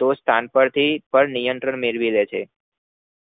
તો સંતે થી નિયંત્મરણ ળેવી લે છે